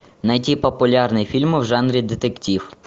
найти популярные фильмы в жанре детектив